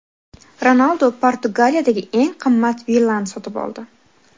Ronaldu Portugaliyadagi eng qimmat villani sotib oldi.